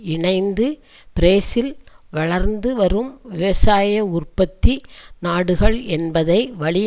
இணைந்து பிரேசில் வளர்ந்து வரும் விவசாய உற்பத்தி நாடுகள் என்பதை வழி